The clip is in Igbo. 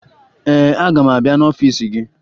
Ee, aga m abịa n'ọfiisi gị